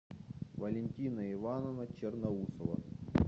валентина ивановна черноусова